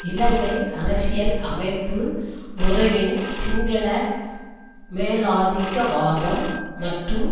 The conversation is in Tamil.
இலங்கை அரசியல் அமைப்பு முறையின் சிங்கள மேலாதிக்கவாதம் மற்றும்